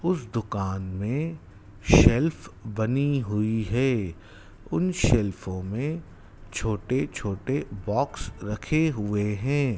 उस दुकान में शेल्फ बनी हुई है उन शेल्फों में छोटे छोटे बॉक्स रखे हुए हैं।